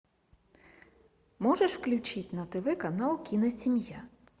можешь включить на тв канал киносемья